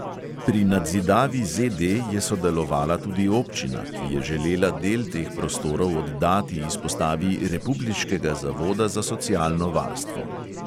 Pri nadzidavi ZD je sodelovala tudi občina, ki je želela del teh prostorov oddati izpostavi republiškega zavoda za socialno varstvo.